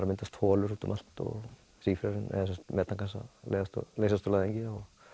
að myndast holur út um allt og metangas að leysast úr læðingi